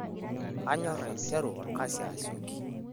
Kanyorr aiteru olkasi asioki.